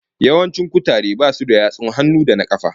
Yawancin kutaren basu da yatsun hannu da kafa